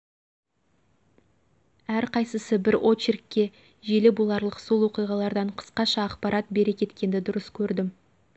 әрқайсысы бір очеркке желі боларлық сол оқиғалардан қысқаша ақпарат бере кеткенді дұрыс көрдім